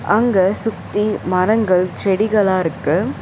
அங்க சுத்தி மரங்கள் செடிகளா இருக்கு.